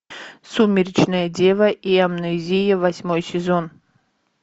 сумеречная дева и амнезия восьмой сезон